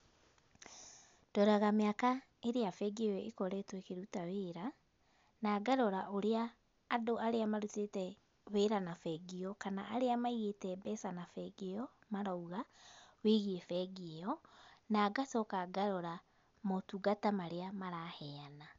Ndoraga mĩaka ĩrĩa bengi ĩyo ĩkoretwo ĩkĩruta wĩra. Na ngarora ũrĩa, andũ arĩa marutĩte wĩra na bengi ĩyo kana arĩa maigĩte mbeca na bengi ĩyo, marauga, wĩgiĩ bengi ĩyo. Na ngacoka ngarora motungata marĩa maraheyana.